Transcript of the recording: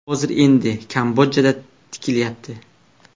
Hozir endi Kambodjada tikilyapti.